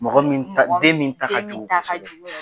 Mɔgɔ moin ta den min ta ka jugu kosɛbɛ